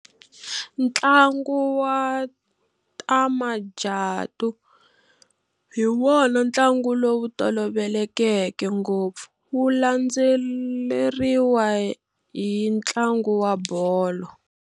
Ntlangu wa ta majatu hi wona ntlangu lowu tolovelekeke ngopfu, wu landzeleriwa hi ntlangu wa bolo.